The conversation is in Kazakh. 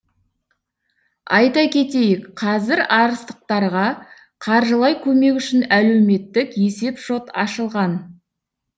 айта кетейік қазір арыстықтарға қаржылай көмек үшін әлеуметтік есеп шот ашылған